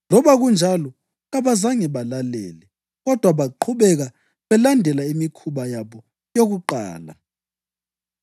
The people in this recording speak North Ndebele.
Loba kunjalo, kabazange balalele kodwa baqhubeka belandela imikhuba yabo yakuqala.